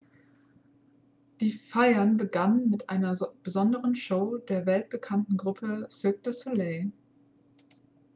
die feiern begannen mit einer besonderen show der weltbekannten gruppe cirque du soleil